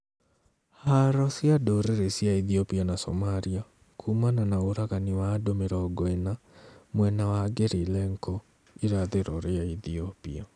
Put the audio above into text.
Haro cia ndũrĩrĩ cia Ethiopia na Somalia kumana na ũragani wa andũ mĩrongo ĩna mwena wa NgeriLenco irathiro ria Ethiopia